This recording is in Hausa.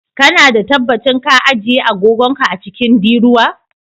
Kana da tabbacin ka ajiye agogon ka a cikin diruwa?